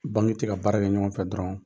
Banki tɛ ka baara kɛ ɲɔgɔn fɛ dɔrɔn